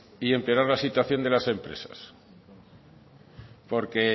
y empeorar las situaciones de las empresas porque